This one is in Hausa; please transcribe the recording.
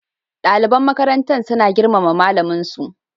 Daliban makarantar suna girmama malamin su